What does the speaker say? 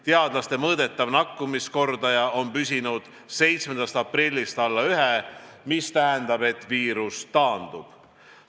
Teadlaste mõõdetav nakatamiskordaja on püsinud 7. aprillist alla 1, mis tähendab, et viirus taandub.